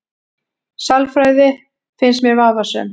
Sálfræði finnst mér vafasöm